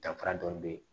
Danfara dɔɔni be yen